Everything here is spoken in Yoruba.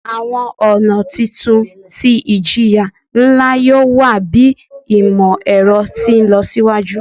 Awọn ọna titun ti ijiya nla yoo wa bi imọ-ẹrọ ti nlọsiwaju